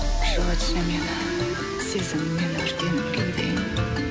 жылытшы мені сезіммен өртеніп кеудең